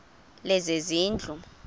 lezezindlu